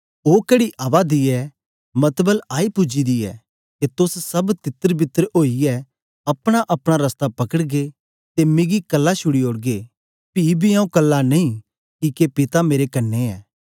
दिखो ओ कड़ी आवा दी ऐ मतबल आई पूजी दी ऐ के तोस सब तित्रबितर ओईयै अपनाअपना रसता पकड़गे ते मिगी कल्ला छूडी ओड़गे पी बी आऊँ कल्ला नेई किके पिता मेरे कन्ने ऐ